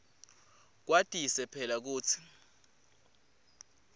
kwatise phela kutsi